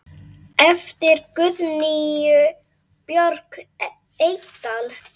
eftir Guðnýju Björk Eydal